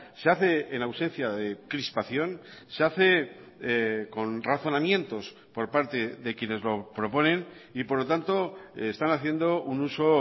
se hace en ausencia de crispación se hace con razonamientos por parte de quienes lo proponen y por lo tanto están haciendo un uso